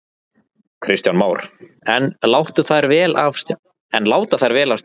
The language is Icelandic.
Kristján Már: En láta þær vel af stjórn?